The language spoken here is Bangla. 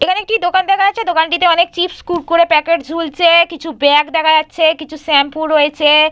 এখানে একটি দোকান দেখা যাচ্ছে। দোকানটিতে অনেক চিপস কুড়কুড়ে প্যাকেট ঝুলছে কিছু ব্যাগ দেখা যাচ্ছে কিছু শ্যাম্পু রয়েছে।